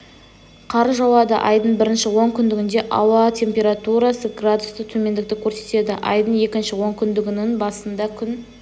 қар жауады айдың бірінші онкүндігінде ауа температурасы градус төмендікті көрсетеді айдың екінші онкүндігінінің басында күн